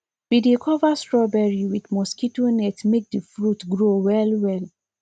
we dey cover strawberry with mosquito net make the fruit grow well well